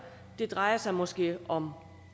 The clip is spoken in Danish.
det drejer sig måske om